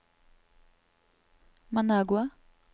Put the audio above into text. Managua